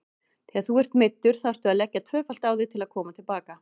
Þegar þú ert meiddur þarftu að leggja tvöfalt á þig til að koma til baka.